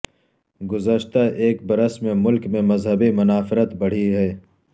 گذشتہ ایک برس میں ملک میں مذہبی منافرت بڑھی ہے